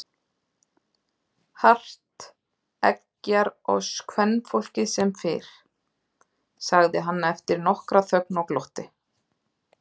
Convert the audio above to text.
Hart eggjar oss kvenfólkið sem fyrr, sagði hann eftir nokkra þögn og glotti.